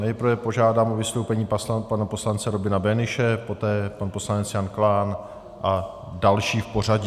Nejprve požádám o vystoupení pana poslance Robina Böhnische, poté pan poslanec Jan Klán a další v pořadí.